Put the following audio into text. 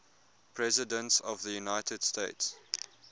presidents of the united states